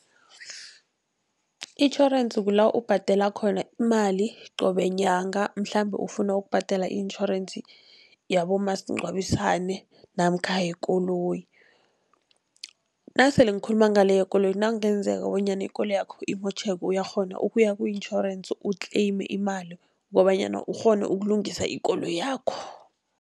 Itjhorensi kula ubhadela khona imali qobe nyanga, mhlambe ufuna ukubhadela i-insurance yabomasingcwabisane namkha yekoloyi. Nasele ngikhuluma ngale yekoloyi nakungenzeka bonyana ikoloyakho imotjheke, uyakghona ukuya ku-insurance utleyime imali kobanyana ukghone ukulungisa ikoloyakho.